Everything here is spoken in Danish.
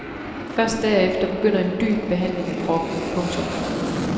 Først derefter begynder en dyb behandling af kroppen. punktum